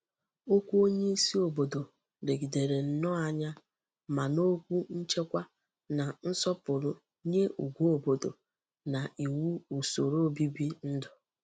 Okwu onye isi obodo legidere nnoo anya ma n'okwu nchekwa na nsopuru nye ugwu obodo na iwu usoro obibi ndu.